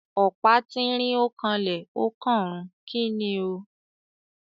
Ọ̀pá tínrín ó kanlẹ̀ ó kànrun. Kíni o?